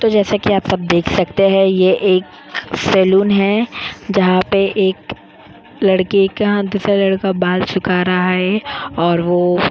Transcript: तो जैसा कि आप सब देख सकते हैं ये एक सलून है जहां पे एक लड़के का दूसरा लड़का बाल सुखा रहा है और वो --